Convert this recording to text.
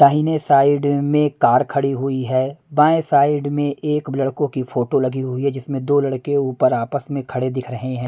दाहिने अ साइड अ में कार खड़ी हुई है बाएं साइड में एक लड़कों की फोटो लगी हुई है जिसमें दो लड़के ऊपर आपस में खड़े दिख रहे हैं।